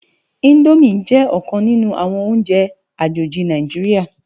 Indómi jè okan ninù áwòn óùnjè ájóji Náijiriá